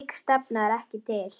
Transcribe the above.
Slík stefna er ekki til.